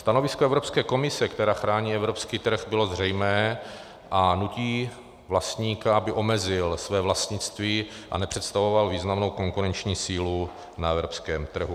Stanovisko Evropské komise, která chrání evropský trh, bylo zřejmé a nutí vlastníka, aby omezil své vlastnictví a nepředstavoval významnou konkurenční sílu na evropském trhu.